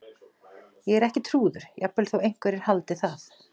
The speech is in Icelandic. Ég er ekki trúður- jafnvel þó einhverjir haldið það.